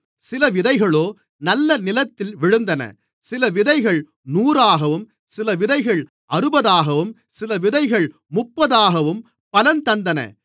சில விதைகளோ நல்ல நிலத்தில் விழுந்தன சில விதைகள் நூறாகவும் சில விதைகள் அறுபதாகவும் சில விதைகள் முப்பதாகவும் பலன் தந்தன